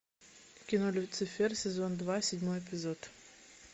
кино люцифер сезон два седьмой эпизод